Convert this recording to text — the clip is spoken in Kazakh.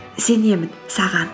сенемін саған